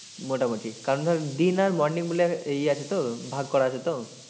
মোটামুটি কারণ ধর দিন আর morning মিলে এই আছে তো ভাগ করা আছে তো,